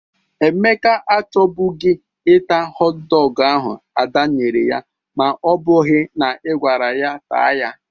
Emeka achọbụgị ịta họt dọgụ ahụ Ada nyere ya ma ọ bụghị na ị gwara ya taa ya.